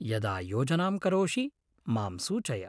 यदा योजनांं करोषि मां सूचय।